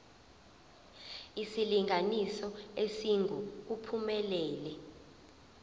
isilinganiso esingu uphumelele